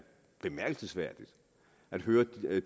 bemærkelsesværdigt at høre